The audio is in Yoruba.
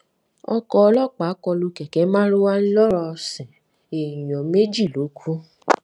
ọkọ̀ ọlọ́pàá kọ lu kẹ̀kẹ́ marwa èèyàn méjì ló kú